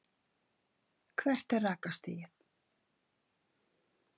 hvert er rakastigið